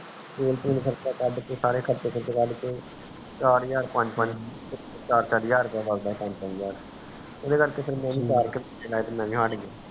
ਤੇਲ ਤੁਲ ਕਾਰਚਾ ਕੱਢ ਕੇ ਸਾਰੇ ਖਰਚੇ ਕੱਢ ਕੇ ਚਾਰ ਹਜਾਰ ਪੰਜ ਪੰਜ ਚਾਰ ਚਾਰ ਹਜਾਰ ਤੋਂ ਪੰਜ ਪੰਜ ਹਜਾਰ ਤਕ